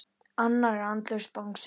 Annar en andlaus Bangsi.